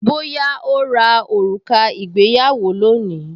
Bóyá ó ra òrùka ìgbéyàwó lónìí